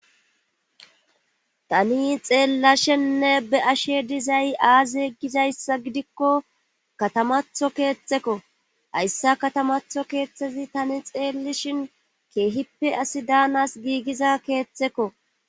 tani xeellashenne be ashe dizay aaze gizayssa gidikko katamatho keettekko hayssa katamatho keeththezi tani xeellishin keehippe asi daanas giigiza keethtekko